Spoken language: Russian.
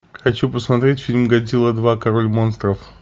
хочу посмотреть фильм годзилла два король монстров